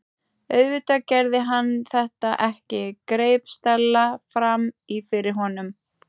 Auðvitað gerði hann þetta ekki- greip Stella fram í fyrir honum.